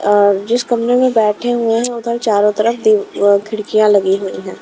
अ जिस कमरे में बैठे हुए हैं उधर चारों तरफ दी अ खिड़कियां लगी हुई है।